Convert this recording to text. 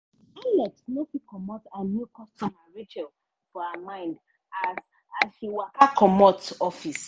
alex no fit comot her new customer rachel for her mind as as she waka comot office.